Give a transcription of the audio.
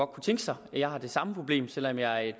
kunne tænke sig jeg har det samme problem selv om jeg